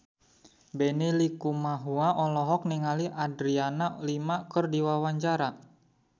Benny Likumahua olohok ningali Adriana Lima keur diwawancara